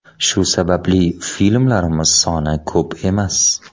Shu sababli filmlarimiz soni ko‘p emas.